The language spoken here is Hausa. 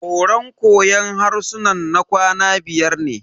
Horan koyon harsunan na kwana biyar ne.